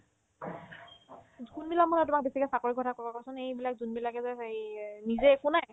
কোনবিলাক মানুহে তোমাক বেছিকে চাকৰিৰ কথা ক'ব কোৱাচোন এইবিলাক যোনবিলাকে যে সেইয়ে নিজে একো নাই